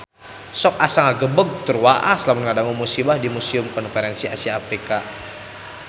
Sok asa ngagebeg tur waas lamun ngadangu musibah di Museum Konferensi Asia Afrika